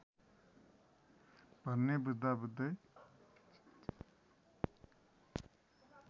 भन्ने बुझ्दा बुझ्दै